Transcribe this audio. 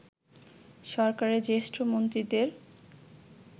সরকারের জ্যেষ্ঠ মন্ত্রীদের